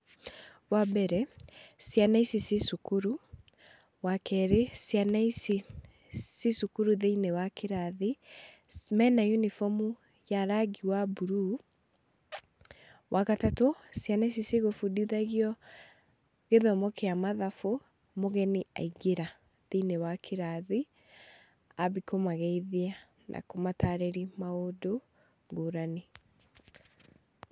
Wa mbere, ciana ici ci cukuru. Wa keerĩ, ciana ici ci cukuru thĩiniĩ wa kĩrathi. Mena uniform ya rangi wa buruu. Wa gatatũ, ciana ici cigũbundithagio gĩthomo kĩa mathabu, mũgeni aingĩra thĩiniĩ wa kĩrathi, ambia kũmageithia na kũmatarĩria maũndũ ngũranĩ.